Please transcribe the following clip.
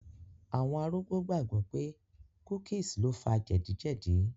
Àwọn arúgbó gbàgbọ̀ pé cookies lo fa jẹ̀díjẹ̀dí